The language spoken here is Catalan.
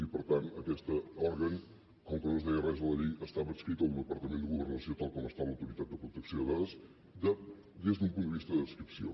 i per tant aquest òrgan com que no es deia res a la llei estava adscrit al departament de governació tal com ho està l’autoritat de protecció de dades des d’un punt de vista d’adscripció